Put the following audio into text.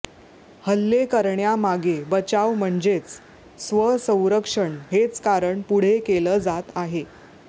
हल्ले करण्यामागे बचाव म्हणजेच स्वसंरक्षण हेच कारण पुढे केलं जात आहे